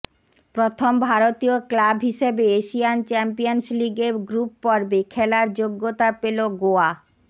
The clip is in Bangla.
প্রথম ভারতীয় ক্লাব হিসেবে এশিয়ান চ্যাম্পিয়ন্স লিগের গ্রুপ পর্বে খেলার যোগ্যতা পেল গোয়া